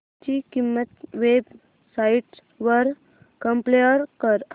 ची किंमत websites वर कम्पेअर कर